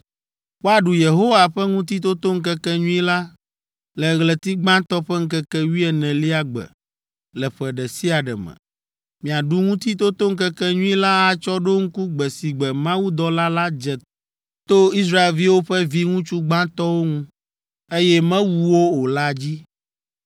“Woaɖu Yehowa ƒe Ŋutitotoŋkekenyui la le ɣleti gbãtɔ ƒe ŋkeke wuienelia gbe le ƒe ɖe sia ɖe me. Miaɖu Ŋutitotoŋkekenyui la atsɔ ɖo ŋku gbe si gbe mawudɔla la dze to Israelviwo ƒe viŋutsu gbãtɔwo ŋu, eye mewu wo o la dzi.